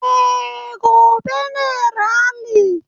Eh, gobe ne rali